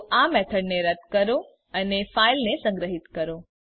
તો આ મેથડને રદ્દ કરો અને ફાઈલને સંગ્રહિત કરો